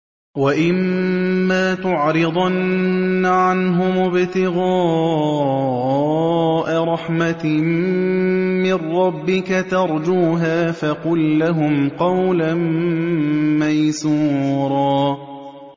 وَإِمَّا تُعْرِضَنَّ عَنْهُمُ ابْتِغَاءَ رَحْمَةٍ مِّن رَّبِّكَ تَرْجُوهَا فَقُل لَّهُمْ قَوْلًا مَّيْسُورًا